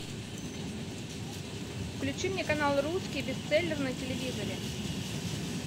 включи мне канал русский бестселлер на телевизоре